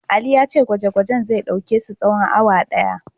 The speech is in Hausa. Ali ya ce gwaje-gwajen zai ɗauke su tsawon awa ɗaya.